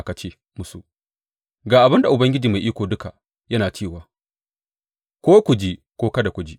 Ka ce musu, Ga abin da Ubangiji Mai Iko Duka yana cewa,’ ko ku ji, ko kada ku ji.